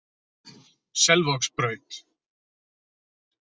Selvogsbraut